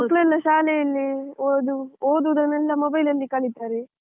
ಮಕ್ಕಳೆಲ್ಲ ಶಾಲೆಯಲ್ಲಿ ಓದೋದನ್ನೆಲ್ಲ mobile ಅಲ್ಲಿ ಕಲೀತಾರೆ.